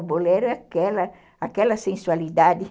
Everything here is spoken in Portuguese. O bolero é aquela aquela sensualidade.